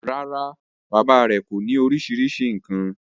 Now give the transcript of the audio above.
rárá, bàbá rẹ̀ kọ́ ọ ní orísirísi nǹkan.